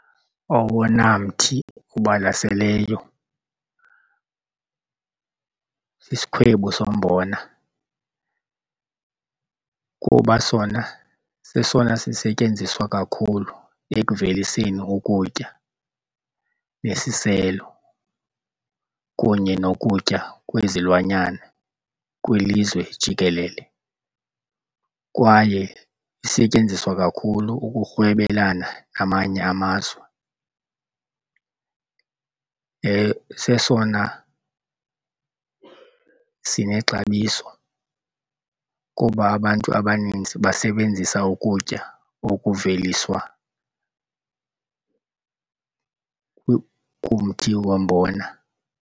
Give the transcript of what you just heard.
Owona mthi ubalaseleyo sisikhwebu sombona kuba sona sesona sisetyenziswa kakhulu ekuveliseni ukutya nesiselo kunye nokutya kwezilwanyana kwilizwe jikelele kwaye isetyenziswa kakhulu ukurhwebelana amanye amazwe. Sesona sinexabiso kuba abantu abaninzi basebenzisa ukutya okuveliswa kumthi wombona.